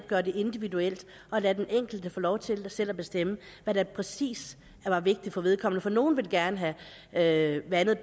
gøre det individuelt og lade den enkelte få lov til selv at bestemme hvad der præcis var vigtigt for vedkommende nogle vil gerne have vandet